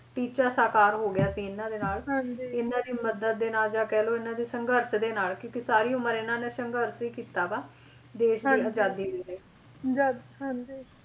ਟੀਚਾ ਸਾਕਾਰ ਹੋ ਗਿਆ ਸੀ ਇਹਨਾਂ ਦੇ ਨਾਲ ਤੇ ਇਹਨਾਂ ਦੀ ਮਦਦ ਦੇ ਨਾਲ ਜਾਂ ਕਹਿਲੋ ਇਹਨਾਂ ਦੇ ਸੰਘਰਸ਼ ਦੇ ਨਾਲ ਕਿਉਂਕਿ ਸਾਰੀ ਉਮਰ ਇਹਨਾਂ ਨੇ ਸੰਘਰਸ਼ ਹੀ ਕੀਤਾ ਵਾ, ਦੇਸ਼ ਦੀ ਆਜ਼ਾਦੀ ਲਈ ਜਦ ਹਾਂਜੀ।